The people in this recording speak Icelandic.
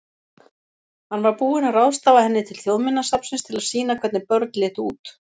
Hann var búinn að ráðstafa henni til Þjóðminjasafnsins til að sýna hvernig börn litu út.